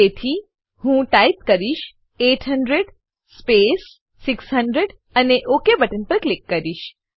તેથી હું ટાઈપ કરીશ 800 સ્પેસ 600 અને ઓક બટન પર ક્લિક કરીશ